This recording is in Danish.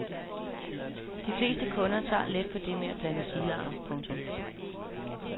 De fleste kunder tager let på det med at blande stilarter. punktum